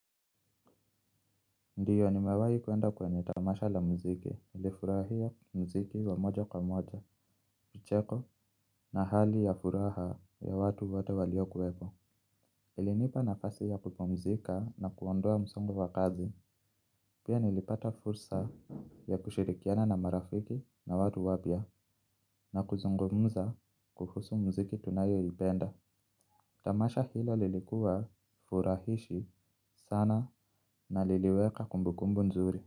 Ndiyo nimewahi kuenda kwenye tamasha la muziki nilifurahia muziki wa moja kwa moja, micheko na hali ya furaha ya watu wote waliokuwepo. Ilinipa nafasi ya kupumzika na kuondoa msongo wa kazi. Pia nilipata fursa ya kushirikiana na marafiki na watu wapya na kuzungumza kuhusu muziki tunayoipenda. Tamasha hilo lilikuwa furahishi sana na liliweka kumbukumbu nzuri.